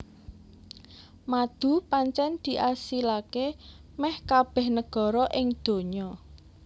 Madu pancen diasilaké méh kabéh negara ing dunya